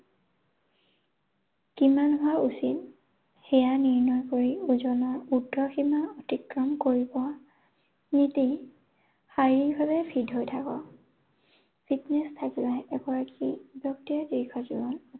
কিমান হোৱা উচিত সেয়া নিৰ্ণয় কৰি ওজনৰ উৰ্ধসীমা অতিক্ৰম কৰিব নিদি শাৰীৰিকভাৱে fit হৈ থাকক। Fitness থাকিলেহে এগৰাকী ব্যক্তিয়ে দীৰ্ঘজীৱন